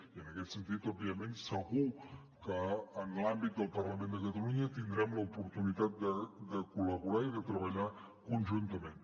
i en aquest sentit òbviament segur que en l’àmbit del parlament de catalunya tindrem l’oportunitat de col·laborar i de treballar conjuntament